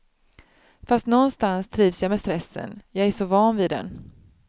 Fast nånstans trivs jag med stressen, jag är så van vid den.